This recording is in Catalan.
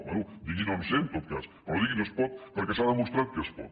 bé digui no en sé en tot cas però no digui no es pot perquè s’ha demostrat que es pot